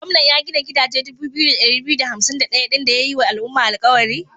Gwamnan ya gina gidaje dubu biyu da ɗari biyu da hansim da ɗayan din da ya yi wa al'umma alkawari?